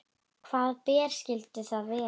Hvaða ber skyldu það vera?